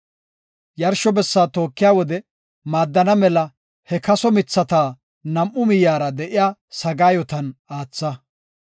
Yarsho bessaa tookiya wode maaddana mela he kaso mithata nam7u miyera de7iya sagaayotan aatha.